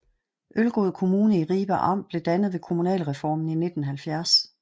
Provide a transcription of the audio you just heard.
Ølgod Kommune i Ribe Amt blev dannet ved kommunalreformen i 1970